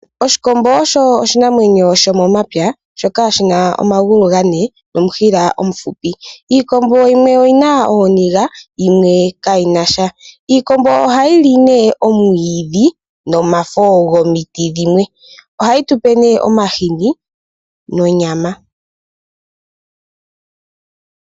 Oshikombo osho oshinamwenyo shomomapya shoka shina omagulu gane nomushila omuhupi . Iikombo yimwe oyina ooniga yo yimwe kayinasha . Iikombo ohayili nee omwiidhi nomafo gomiti dhimwe. Iha yitupe nee omahini nonyama .